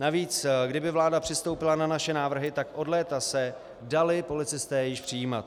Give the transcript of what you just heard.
Navíc kdyby vláda přistoupila na naše návrhy, tak od léta se dali policisté již přijímat.